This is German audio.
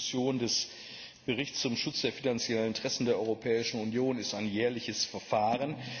Die Diskussion des Berichts über den Schutz der finanziellen Interessen der Europäischen Union ist ein jährliches Verfahren.